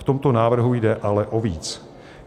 V tomto návrhu jde ale o víc.